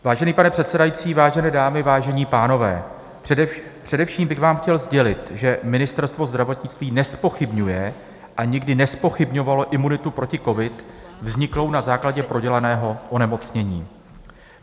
Vážený pane předsedající, vážené dámy, vážení pánové, především bych vám chtěl sdělit, že Ministerstvo zdravotnictví nezpochybňuje a nikdy nezpochybňovalo imunitu proti covid vzniklou na základě prodělaného onemocnění.